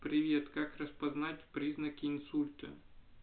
привет как распознать признаки инсульта